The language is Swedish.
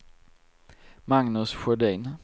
Magnus Sjödin